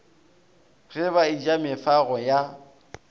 ge ba eja mefago ya